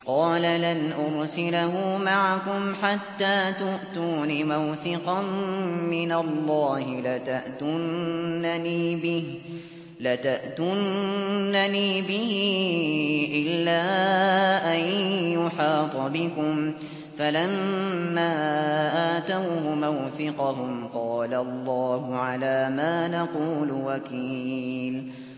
قَالَ لَنْ أُرْسِلَهُ مَعَكُمْ حَتَّىٰ تُؤْتُونِ مَوْثِقًا مِّنَ اللَّهِ لَتَأْتُنَّنِي بِهِ إِلَّا أَن يُحَاطَ بِكُمْ ۖ فَلَمَّا آتَوْهُ مَوْثِقَهُمْ قَالَ اللَّهُ عَلَىٰ مَا نَقُولُ وَكِيلٌ